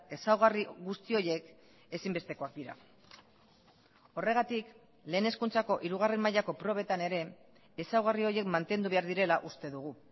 ezaugarri guzti horiek ezinbestekoak dira horregatik lehen hezkuntzako hirugarren mailako probetan ere ezaugarri horiek mantendu behar direla uste dugu